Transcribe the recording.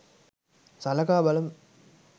සලකා බලමු